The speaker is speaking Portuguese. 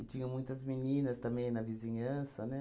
E tinham muitas meninas também na vizinhança, né?